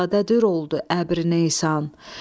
dəryadadır oldu əbri Nesan.